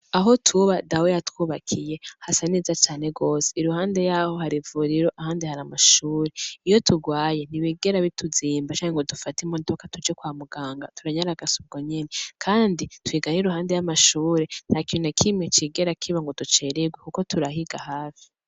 Aho tuba dawi yatwubakiye hasa neza cane gose i ruhande yaho hari ivuriro ahandi hari amashure iyo turwaye ntibigera bituzimba canke ngo dufata imodoka tuje kwa muganga turanyaragasa ubwo nyene, kandi twigana e i ruhande y'amashure nta kiruna kime cigera kiba ngo ducererwe, kuko turahiga hafi.